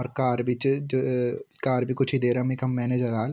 और कार भी च जू अ कार भी कुछ ही देरम यखम मेनेजर आल।